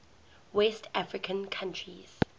west african countries